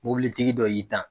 Mobilitigi dɔ y'i tan.